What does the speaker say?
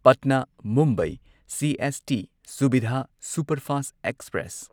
Patna Mumbai CST Suvidha superfast express